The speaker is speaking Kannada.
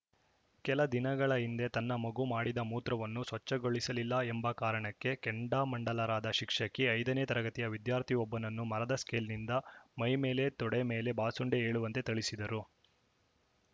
ಕೆಲ ದಿನಗಳ ಹಿಂದೆ ತನ್ನ ಮಗು ಮಾಡಿದ್ದ ಮೂತ್ರವನ್ನು ಸ್ವಚ್ಛಗೊಳಿಸಲಿಲ್ಲ ಎಂಬ ಕಾರಣಕ್ಕೆ ಕೆಂಡಾಮಂಡಲರಾದ ಶಿಕ್ಷಕಿ ಐದನೇ ತರಗತಿಯ ವಿದ್ಯಾರ್ಥಿಯೊಬ್ಬನನ್ನು ಮರದ ಸ್ಕೇಲ್‌ನಿಂದ ಮೈಮೇಲೆ ತೊಡೆ ಮೇಲೆ ಬಾಸುಂಡೆ ಏಳುವಂತೆ ಥಳಿಸಿದ್ದರು